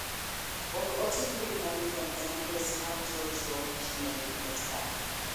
Or ote mbui manyuien e adres mar JoeJoe gmail.com